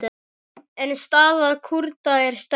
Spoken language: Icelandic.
En staða Kúrda er sterk.